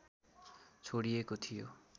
छोडिएको थियो